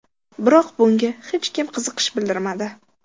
Biroq bunga hech kim qiziqish bildirmadi.